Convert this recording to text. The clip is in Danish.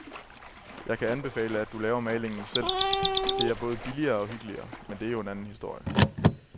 Jeg kan anbefale, at du laver malingen selv, det er både billigere og hyggeligere, men det er jo en anden historie.